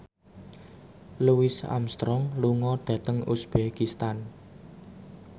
Louis Armstrong lunga dhateng uzbekistan